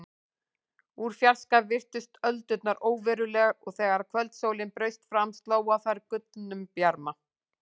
Úr fjarska virtust öldurnar óverulegar og þegar kvöldsólin braust fram sló á þær gullnum bjarma.